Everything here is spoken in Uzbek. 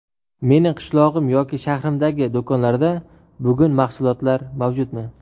Mening qishlog‘im yoki shahrimdagi do‘konlarda bugun mahsulotlar mavjudmi?